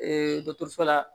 dɔkɔtɔrɔso la